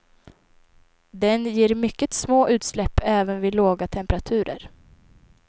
Den ger mycket små utsläpp, även vid låga temperaturer.